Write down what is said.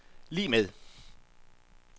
lig med